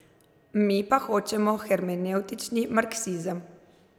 Mi pa hočemo hermenevtični marksizem.